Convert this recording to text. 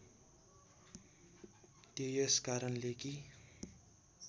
त्यो यसकारणले कि